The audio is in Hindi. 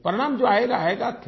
परिणाम जो आएगा आएगा